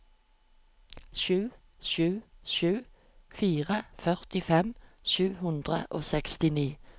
sju sju sju fire førtifem sju hundre og sekstini